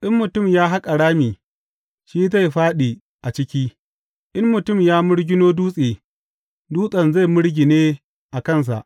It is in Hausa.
In mutum ya haƙa rami, shi zai fāɗi a ciki; in mutum ya mirgino dutse, dutsen zai mirgine a kansa.